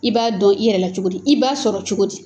I b'a dɔn i yɛrɛ la cogo di ? i b'a sɔrɔ cogo di ?